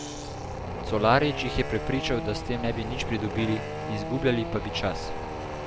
Colarič jih je prepričal, da s tem ne bi nič pridobili, izgubljali pa bi čas.